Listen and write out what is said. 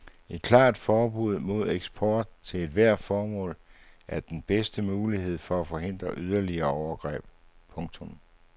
Et klart forbud mod eksport til ethvert formål er den bedste mulighed for at forhindre yderligere overgreb. punktum